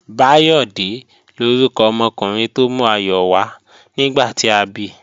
Báyọ̀dé lórúkọ ọmọkùnrin tó mú ayọ̀ wá nígbà tí a bi